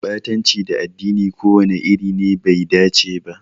Ɓatanci ga addini ko wani iri ne bai dace ba.